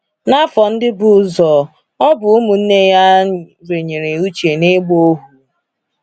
N’afọ ndị bu ụzọ, ọ bụ ụmụnne ya a renyere Uche n’ịgba ohu.